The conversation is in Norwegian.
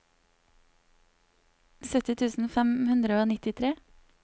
sytti tusen fem hundre og nittitre